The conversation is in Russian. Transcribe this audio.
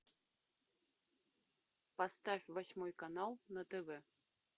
поставь восьмой канал на тв